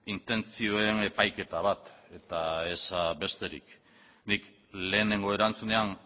intentzioen epaiketa bat eta ez besterik nik lehenengo erantzunean